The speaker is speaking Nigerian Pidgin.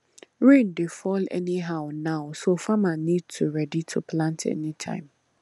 rain dey fall anyhow now so farmer need to ready to plant anytime